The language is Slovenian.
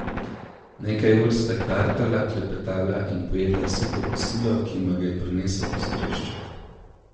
Nekaj ur sta kartala, klepetala in pojedla suho kosilo, ki jima ga je prinesel postrešček.